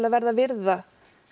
verða að virða